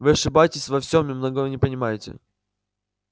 вы ошибаетесь во всем и многого не понимаете